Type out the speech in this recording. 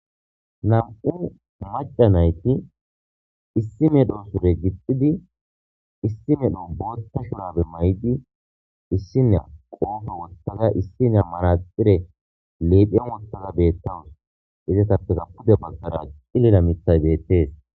nam7u maca nayti issi medho sure gixxidi issi medho bootta shunabe may7di issiniya qoofe wottaza issiniya maraxire leephiya wottaza beettawus izatappega pude baggara cilila mithay bettees